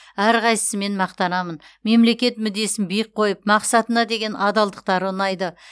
әрқайсысымен мақтанамын мемлекет мүддесін биік қойып мақсатына деген адалдықтары ұнайды